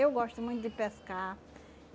Eu gosto muito de pescar.